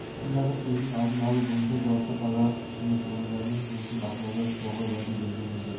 қаласындағы селдің алдын алу бойынша жауапты қалалық қызмет орындарының жұмысын бақылауда ұстауға уәде берген еді